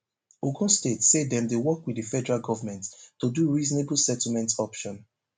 ogun state say dem dey work wit di federal govment to do reasonable settlement option